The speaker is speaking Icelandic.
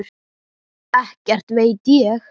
Ekkert veit ég.